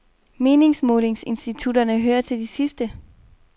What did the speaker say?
Meningsmålinginstitutterne hører til de sidste.